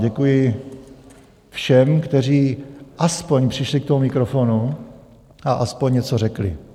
Děkuji všem, kteří aspoň přišli k tomu mikrofonu a aspoň něco řekli.